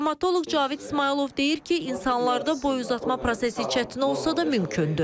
Travmatoloq Cavid İsmayılov deyir ki, insanlarda boy uzatma prosesi çətin olsa da mümkündür.